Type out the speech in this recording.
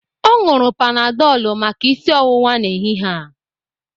Ọ ṅụrụ panadọlụ maka isi ọwụwa n'ehihie a.